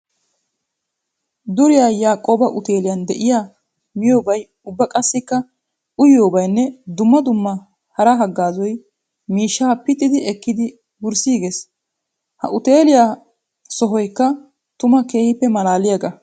Duriya Yakoba utteeliyan de'iya miyobay ubba qassikka uyiyobayinne dumma dumma hara hagaazay miishsha pittiddi ekkiddi wurssigees. Ha uutelliya sohoykka tuma keehippe malaalliyaaga.